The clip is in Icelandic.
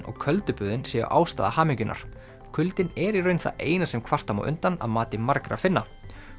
og köldu böðin séu ástæða hamingjunnar kuldinn er í raun það eina sem kvarta má undan að mati margra Finna